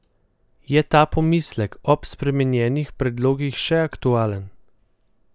Je ta pomislek ob spremenjenih predlogih še aktualen?